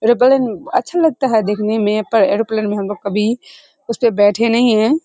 Aeroplane अच्छा लगता है देखने मे पर एरोप्लेन हम लोग कभी उसपे बैठे नहीं है।